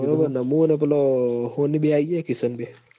મું ન પેલો હોની બેય આઇયે હીએ કિશન બે